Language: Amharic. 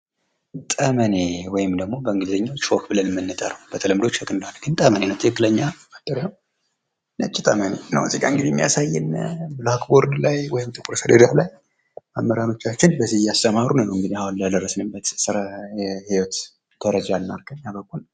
ጠመኔ ወይም ደግሞ በእንግሊዝኛ ቾክ ብለን ምንጠራው በተለምዶ ቾክ እንለዋለን ግን ጠመኔ ነው ትክክለኛ አጠራሩ ነጭ ጠመኔ ነው እዚህ ጋ እንግዲህ የሚያሳየን ብላክ ቦርድ ላይ ወይም ጥቁር ሰሌዳ ላይ መምህራኖቻችን በዚህ እያስተማሩ ነው አሁን ለደረስንበት ስራ ህይወት ደረጃ ያበቁን ።